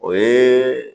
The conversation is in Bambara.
O ye